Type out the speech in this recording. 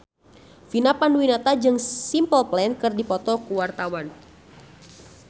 Vina Panduwinata jeung Simple Plan keur dipoto ku wartawan